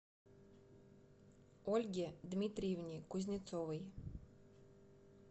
ольге дмитриевне кузнецовой